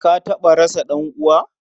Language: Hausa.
Ka taɓa rasa ɗan'uwa?